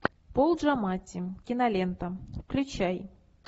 пол джаматти кинолента включай